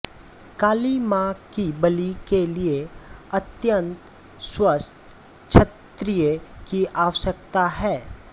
काली माँ की बलि के लिए अत्यन्त स्वस्थ क्षत्रिय की आवश्यकता है